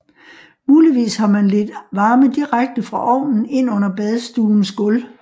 Muligvis har man ledt varme direkte fra ovnen ind under badstuens gulv